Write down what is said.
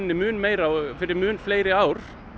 mun meira og fyrir mun fleiri ár